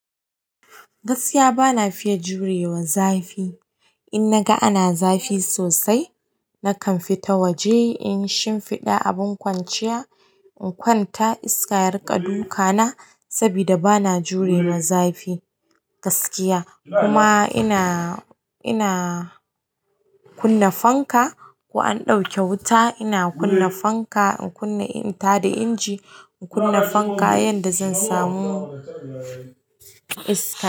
Gaskiya bana fiya jurewa zafi in naga ana zafi sosai, nakan fita waje in yi shimfiɗa abin kwanciya in kwanta iska ya riƙa dukana saboda bana jurewa zafi gaskiya. Kuma ina, ina kunna fanka. Ko an ɗauke wuta ina kunna fanka, in kunna, in ta da inji in kunna fanka yanda zan samu iska.